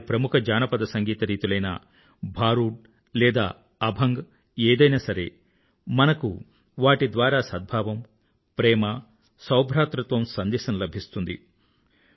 వారి ప్రముఖ జానపద సంగీత రీతులైన భారూడ్ లేదా అభంగ్ ఏదైనా సరే మనకు వాటి ద్వారా సద్భావం ప్రేమ సౌభ్రాతృత్వ సందేశం లభిస్తుంది